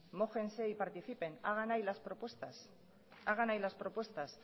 mójense y participen hagan ahí las propuestas